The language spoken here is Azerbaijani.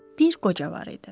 Bir qoca var idi.